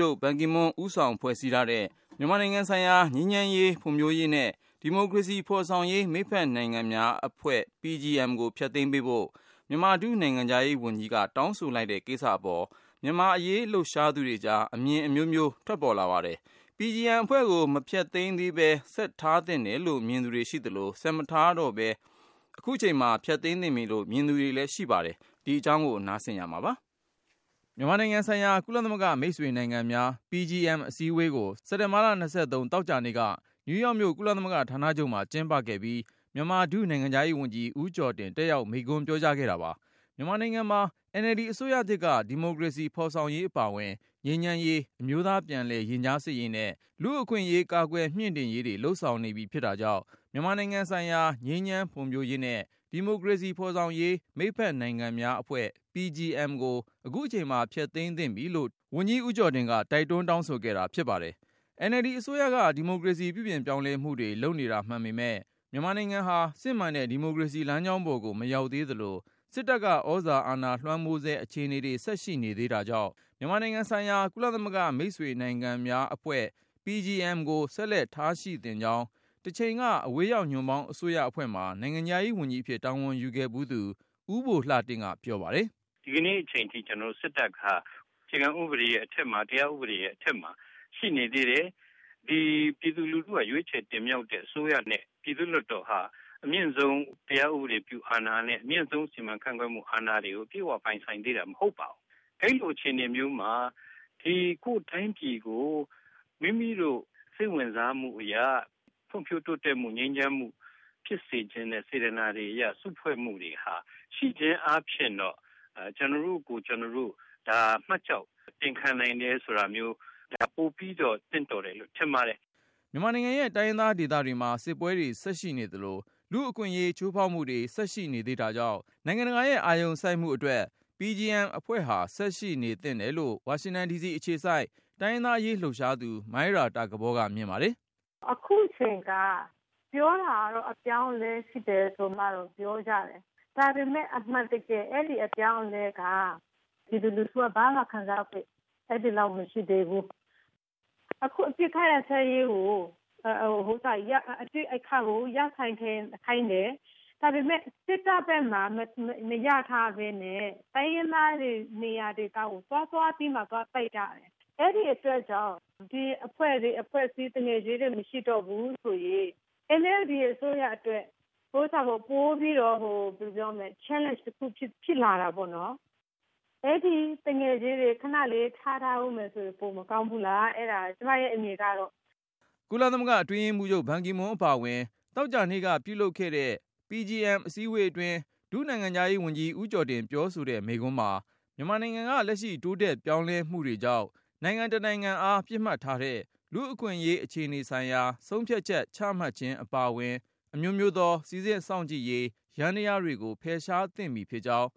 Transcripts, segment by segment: ျုပ် ဘန်ကီမွန်းဦးဆောင်ဖွဲ့စည်းထား တဲ့ မြန်မာနိုင်ငံဆိုင် ရာ ငြိမ်းချမ်းရေး ဖွံ့ဖြိုးရေးနှင့် ဒီမိုကရေစီဖော်ဆောင်ရေး မိတ်ဖက်နိုင်ငံများအဖွဲ့ (Partnership Group for Peace, Development and Democracy in Myanmar- PGM) ကို ဖျက်သိမ်းပေးဖို့ မြန်မာ ဒုနိုင်ငံခြားရေးဝန်ကြီး က တောင်းဆို လိုက်တဲ့ကိစ္စအပေါ် မြန်မာ့အရေး လှုပ်ရှားနေသူတွေကြား အမြင်အမျိုးမျိုး ထွက်ပေါ် လာပါတယ်။ PGMအဖွဲ့ကို မဖျက်သိမ်းသေးပဲ ဆက်ထားသင့် တယ်လို့ မြင် သူတွေရှိသလို၊ ဆက်မထားတော့ပဲ အခုချိန်မှာ ဖျက်သိမ်းသင့်ပြီလို့ မြင်နေသူတွေလဲ ရှိပါတယ်။ အကြောင်းစုံကို ကိုဉာဏ်ဝင်းအောင်က တင်ပြပါမယ်။ မြန်မာနိုင်ငံဆိုင်ရာ ကုလသမဂ္ဂမိတ်ဆွေနိုင်ငံများ အစည်းအဝေးကို စက်တင်ဘာ သောကြာနေ့က နယူးယောက်မြို့ ကုလသမဂ္ဂ ဌာနချုပ်မှာ ကျင်းပခဲ့ပြီး၊ မြန်မာ ဒုနိုင်ငံခြားရေးဝန်ကြီး ဦးကျော်တင် တက်ရောက်မိန့် ခွန်းပြောကြားခဲ့တာပါ။ မြန်မာနိုင်ငံမှာ NLD အစိုးရသစ်က ဒီမိုကရေ စီ ဖေါ်ဆောင်ရေးအပါဝင် ငြိမ်းချမ်းရေး၊ အမျိုးသားပြန်လည် ရင်ကြားစေ့ရေးနဲ့ လူ့အခွင့်အရေး ကာကွယ်မြှင့်တင်ရေးတွေ လုပ်ဆောင် နေပြီ ဖြစ် တာကြောင့် မြန်မာနိုင်ငံဆိုင်ရာ ငြိမ်းချမ်း၊ ဖွံ့ဖြိုးရေးနဲ့ ဒီမိုကရေစီဖော်ဆောင်ရေး မိတ်ဖက်နိုင်ငံများအဖွဲ့ ကို အခုချိန်မှာ ဖျက်သိမ်းသင့်ပြီလို့ တိုက် တွန်း တောင်းဆိုခဲ့တာ ဖြစ်ပါတယ်။ NLD အစိုးရက ဒီမိုကရေစီ ပြုပြင်ပြောင်းလဲမှုတွေ လုပ်နေတာမှန်ပေ မယ့် မြန်မာနိုင်ငံဟာ စစ်မှန်တဲ့ ဒီမိုကရေစီလမ်းကြောင်းပေါ်ကို မရောက် သေး သလို၊ စစ်တပ်က သြဇာအာဏာလွှမ်းမိုးဆဲ အခြေနေတွေ ဆက်ရှိနေသေး တာကြောင့် မြန်မာနိုင်ငံဆိုင်ရာ ကုလသမဂ္ဂမိတ်ဆွေ နိုင်ငံများ အဖွဲ့ ကို ဆက်လက်ထားရှိသင့်ကြောင်း တချိန်က အဝေးရောက် ညွန့်ပေါင်းအစိုးရ အဖွဲ့မှာ နိုင်ငံခြားရေးဝန်ကြီးအဖြစ် တာဝန်ယူခဲ့ ဖူးသူ ဦးဘိုလှတင့်က ပြောပါတယ်။ “ဒီကနေ့အချိန်ထိ စစ်တပ်ဟာ အခြေခံဥပဒေရဲ့အထက်မှာ တရားဥပဒေရဲ့အထက် မှာ ရှိနေသေး တယ်။ ပြည်သူလူထု က ရွေးချယ်တင်မြှောက်တဲ့ အစိုးရနဲ့ ပြည်သူ့ လွှတ်တော်ဟာ အမြင့်ဆုံး တရားဥပဒေပြုအာဏာနဲ့ အမြင့်ဆုံးစီမံခန့်ခွဲမှု အာဏာတွေ ကို အပြည့်အ၀ ပိုင်ဆိုင်သေးတာ မဟုတ်ပါဘူး။ အဲဒီလိုအခြေအနေမျိုး မှာ ကိုယ်တိုင်းပြည်ကို မိမိတို့ စိတ်ဝင်စားမှုအရ ဖွံဖြိုးတိုးတက်မှု၊ ငြိမ်းချမ်းမှု ဖြစ်စေ ချင်တဲ့ စေတနာတွေအရ စုဖွဲ့မှုတွေဟာ ရှိခြင်းအားဖြင့်တော့ ကျနော့်တို့ကိုယ် ကျနော်တို့ မှတ်ကျောက်တင်ခံနိုင်တယ်ဆိုတာမျိုး ပိုပြီးတော့ သင့်တော်တယ်လို့ ထင်ပါတယ်။” မြန်မာနိုင်ငံရဲ့တိုင်းရင်းသားဒေသတွေမှာ စစ်ပွဲတွေဆက်ရှိနေသလို လူ့အခွင့်အရေး ချိုးဖေါက်မှုတွေ ဆက်ရှိနေသေးတာကြောင့် နိုင်ငံတကာရဲ့ အာရုံစိုက်မှုအတွက် အဖွဲ့ဟာ ဆက်ရှိနေသင့်တယ်လို့ ဝါရှင်တန်ဒီစီအခြေစိုက် တိုင်းရင်းသား အရေး လှုပ်ရှားသူ မိုင်းရာတာကပေါ်က မြင်ပါတယ်။ “အခုချိန်ဟာ ပြောတာကတော့ အပြောင်းအလဲရှိတယ်ဆိုပြီးပြောကြတယ်။ ဒါပေမဲ့ အမှန်တကယ် အဲဒီအပြောင်းအလဲက ပြည်သူလူထုက ဘာမှခံစားခွင့်မရှိသေးဘူး။ အခုအပစ်အခတ်ရပ်စဲရေးကို ရပ်စဲခိုင်းတယ်။ ဒါပေမဲ့ စစ်တပ်ဖက်မှာ မရပ်ထားပဲနဲ့ တိုင်းရင်းသားတွေနေရာဒေသကို သွားပြီး တိုက်တာ အဲဒီအတွက်ကြောင့် ဒီ မိတ်ဖက်အဖွဲ့မျိုး မရှိတော့ဘူးဆိုရင် NLD အစိုးရအတွက် ပိုပြီးတော့ challenge တခုဖြစ်လာတော့မှာပေါ့။” ကုလသမဂ္ဂအတွင်းရေးမှူးချုပ် ဘန်ကီမွန်းအပါအဝင် သောကြာနေ့က ပြုလုပ်တဲ့ အစည်းအဝေးအတွင်း ဒုနိုင်ငံခြားရေးဝန်ကြီး ဦး ကျော်တင်ပြောဆိုတဲ့ မိန့်ခွန်းမှာ မြန်မာနိုင်ငံက လက်ရှိတိုးတက်ပြောင်းလဲမှုတွေကြောင့် နိုင်ငံတစ်နိုင်ငံ အားပစ်မှတ်ထားတဲ့ လူ့အခွင့်အရေး အခြေအနေဆိုင်ရာ ဆုံးဖြတ်ချက် ချမှတ်ခြင်း အပါအဝင် အမျိုးမျိုးသော စိစစ်စောင့်ကြည့်ရေး ယန္တရားတွေကို ဖယ်ရှား သင့်ပြီးဖြစ်ကြောင်း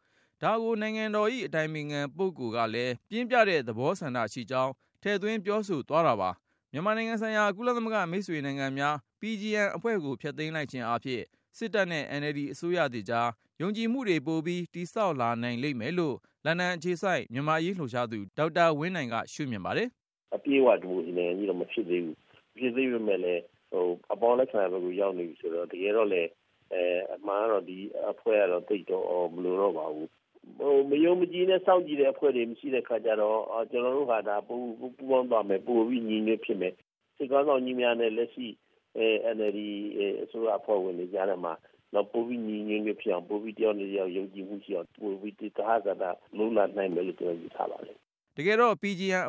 ၊ ဒါကို နိုင်ငံတော်အတိုင်ပင်ခံ ပုဂ္ဂိုလ်ကလည်း ပြင်းပြတဲ့ သဘော ဆန္ဒရှိကြောင်း ထည့်သွင်းပြောဆိုသွားတာပါ။ မြန်မာနိုင်ငံဆိုင်ရာ ကုလသမဂ္ဂမိတ်ဆွေနိုင်ငံများ အဖွဲ့ကို ဖျက်သိမ်း လိုက်ခြင်းအားဖြင့် စစ်တပ်နဲ့ NLD အစိုးရသစ်ကြား ယုံကြည်မှုတွေ ပိုပြီး တည်ဆောက်လာနိုင်လိမ့်မယ်လို့ လန်ဒန်အခြေစိုက် မြန်မာ့အရေးလှုပ်ရှား သူ ဒေါက်တာဝင်းနိုင်က မြင်ပါတယ်။ “အပြည့်အဝဒီမိုကရေစီနိုင်ငံကြီးတော့ မဖြစ်သေးဘူး။ မဖြစ်သေးပေမဲ့လည်း အပေါင်းလက္ခဏာ ဘက်ကို ရောက်နေပြီဆိုတော့ အမှန်တော့ ဒီအဖွဲ့က သိပ်ပြီးမလိုတော့ပါဘူး။ မယုံမကြည်နဲ့ စောင့် ကြည့်တဲ့အဖွဲ့တွေ မရှိတဲ့ အခါကျတော့ ကျနော်တို့ဘာသာ ပူးပေါင်းသွားမယ်။ ပိုပြီးညီ ညွတ်ဖြစ် မယ်၊ စစ်ခေါင်းဆောင်ကြီးများနဲ့ လက်ရှိ NLD အစိုးရအဖွဲ့ဝင်တွေကြားထဲမှာ ပိုပြီးညီညီ ညွတ်ညွတ်၊ ယုံကြည်မှုရှိအောင်၊ သဟဇာတလုပ်လာနိုင်မယ်လို့ ကျနော် ယူဆပါတယ်။” တကယ်တော့ အ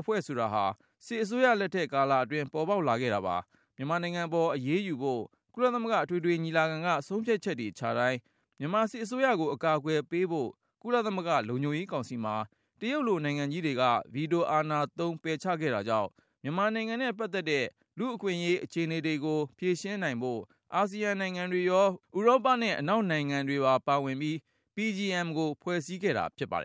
ဖွဲ့ဆိုတာဟာ စစ်အစိုးရလက်ထက် ကာလအ တွင်း ပေါ်ပေါက်လာခဲ့တာပါ။ မြန်မာနိုင်ငံပေါ် အရေးယူဖို့ ကုလသမဂ္ဂ အထွေထွေညီလာခံက ဆုံးဖြတ်ချက်တွေချတိုင်း၊ မြန်မာစစ်အစိုးရကို အကာအကွယ်ပေးဖို့ ကုလသမဂ္ဂ လုံခြုံရေးကောင်စီမှာ တရုတ်လို နိုင်ငံကြီးတွေက ဗီတိုအာဏာသုံး ပယ်ချခဲ့တာကြောင့်၊ မြန်မာနိုင်ငံနဲ့ပတ်သက်တဲ့ လူ့အခွင့်အရေး အခြေနေတွေကို ဖြေရှင်းနိုင်ဖို့ အာဆီယံ နိုင်ငံတွေရော၊ ဥရောပနဲ့ အနောက်နိုင်ငံတွေပါ ပါဝင်ပြီး PGM ကိုဖွဲ့စည်းခဲ့တာဖြစ်ပါတယ်